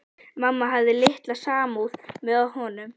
Mamma hafði litla samúð með honum.